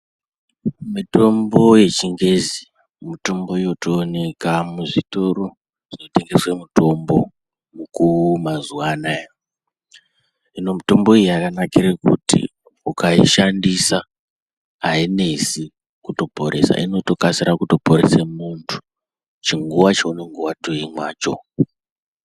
Mitombo yechibgezi mutombo yotoonekwa muzvitoro zvinotengesa mitombo mukuu mazuwa anaya hino mutombo iyi yajanakire kuti ukaishandisa ainesi kuporesa inotoporese muntu chinguwa cheunenge watoimwacho.